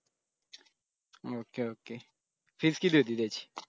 okay okay fees किती होती त्याची?